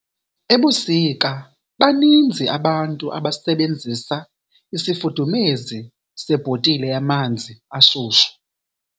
Ebusika baninzi abantu abasebenzisa isifudumezi sebhotile yamanzi ashushu.